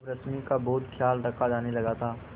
अब रश्मि का बहुत ख्याल रखा जाने लगा था